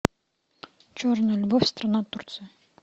черная любовь страна турция